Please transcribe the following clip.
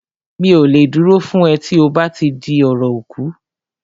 Mi ò lè dúró fún ẹ tí ó bá ti di ọ̀rọ̀ ikú